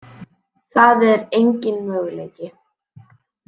Það er engin möguleiki.